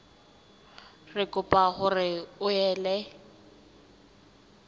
re kopa hore o ele